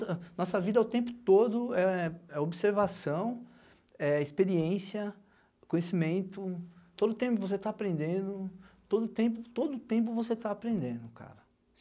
A nossa vida o tempo todo é é observação, é experiência, conhecimento, todo o tempo você está aprendendo, todo o tempo, todo o tempo você está aprendendo, cara.